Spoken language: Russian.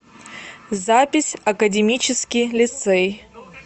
запись академический лицей